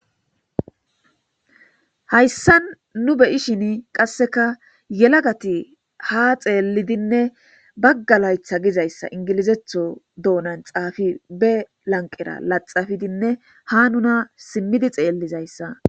Hayssa nu beyishin qasseka yelagati ha xeelidinne baggalaytha gizayssa ingilizetho doonan xaafi be lanqera laxafidinne ha nuna simmidi xeellizayssa.